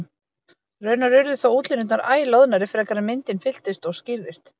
Raunar urðu þó útlínurnar æ loðnari frekar en myndin fylltist og skýrðist.